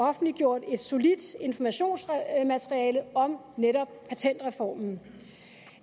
offentliggjort et solidt informationsmateriale om netop patentreformen